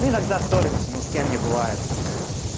мы иногда ссоримся ну с кем не бывает